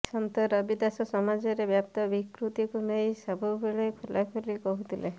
ସନ୍ଥ ରବିଦାସ ସମାଜରେ ବ୍ୟାପ୍ତ ବିକୃତିକୁ ନେଇ ସବୁବେଳେ ଖୋଲାଖୋଲି କହୁଥିଲେ